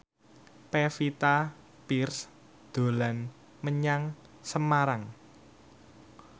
Pevita Pearce dolan menyang Semarang